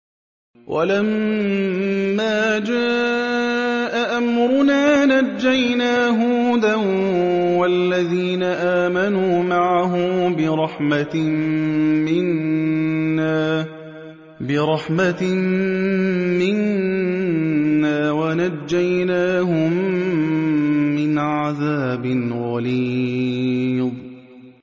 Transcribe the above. وَلَمَّا جَاءَ أَمْرُنَا نَجَّيْنَا هُودًا وَالَّذِينَ آمَنُوا مَعَهُ بِرَحْمَةٍ مِّنَّا وَنَجَّيْنَاهُم مِّنْ عَذَابٍ غَلِيظٍ